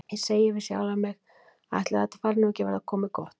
Ég segi við sjálfa mig: Ætli þetta fari nú ekki að verða gott?